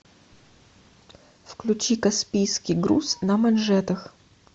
включи каспийский груз на манжетах